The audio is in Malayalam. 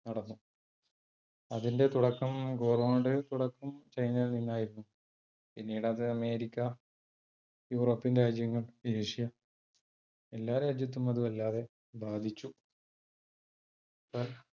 അതിന്റെ തുടക്കം കോറോണയുടെ തുടക്കം ചൈനയിൽ നിന്ന് ആയിരുന്നു, പിന്നീട് അത് അമേരിക്ക, യൂറോപ്യൻ രാജ്യങ്ങൾ, ഏഷ്യ എല്ലാ രാജ്യത്തും അതു വല്ലാതെ ബാധിച്ചു.